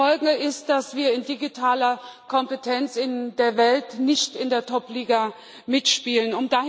Die Folge ist, dass wir in digitaler Kompetenz in der Welt nicht in der Top Liga mitspielen.